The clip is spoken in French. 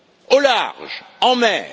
Au large, en mer.